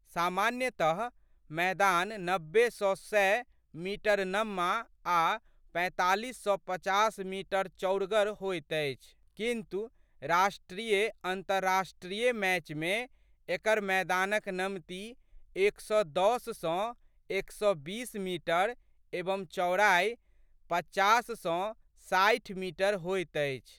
सामान्यतमैदान नब्बे सँ सए मीटर नम्मा आ' पैंतालीस सँ पचास मीटर चौड़गर होइत अछि किन्तु, राष्ट्रीयअन्तर्राष्ट्रीय मैचमे एकर मैदानक नमती एक सए दस सँ एक सए बीस मीटर एवं चौड़ाइ पचास सँ साठि मीटर होइत अछि।